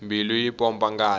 mbilu yi pompa ngati